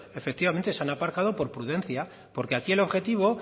efectivamente se han aparcado por prudencia porque aquí el objetivo